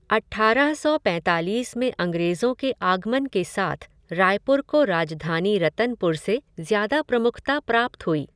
अट्ठारह सौ पैंतालीस में अंग्रेज़ों के आगमन के साथ रायपुर को राजधानी रतनपुर से ज़्यादा प्रमुखता प्राप्त हुई।